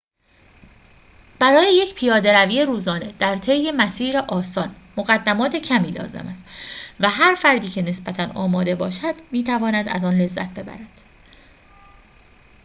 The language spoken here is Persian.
برای یک پیاده‌روی روزانه در طی مسیر آسان مقدمات کمی لازم است و هر فردی که نسبتاً آماده باشد می‌تواند از آن لذت ببرد